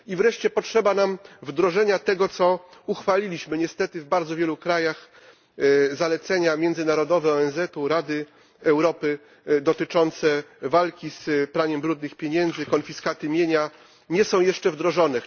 I wreszcie potrzeba nam wdrożenia tego, co uchwaliliśmy niestety w bardzo wielu państwach zalecenia międzynarodowe ONZ, Rady Europy dotyczące walki z praniem brudnych pieniędzy, konfiskaty mienia nie są jeszcze wdrożone.